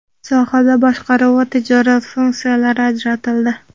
sohada boshqaruv va tijorat funksiyalari ajratildi.